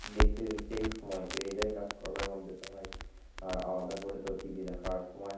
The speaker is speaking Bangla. দেখতে দেখতেই সময় পেরিয়ে যায় কাজকর্মের মধ্যে তো ভাই আর আলাদা করে তো tv দেখার সময়,